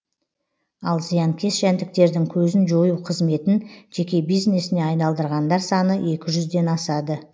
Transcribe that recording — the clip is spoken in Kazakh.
ал зиянкес жәндіктердің көзін жою қызметін жеке бизнесіне айналдырғандар саны екі жүзден асады